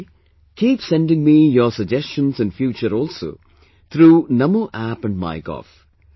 Similarly, keep sending me your suggestions in future also through Namo App and MyGov